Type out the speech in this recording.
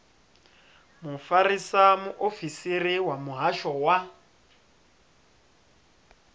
mufarisa muofisiri wa muhasho wa